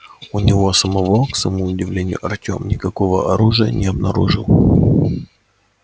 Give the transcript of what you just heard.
у него самого к своему удивлению артём никакого оружия не обнаружил